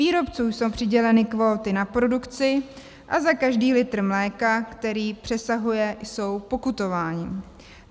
Výrobcům jsou přiděleny kvóty na produkci a za každý litr mléka, který přesahuje, jsou pokutováni.